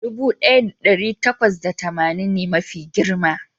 dubu daya da dari takwas da tamanin ne mafi girma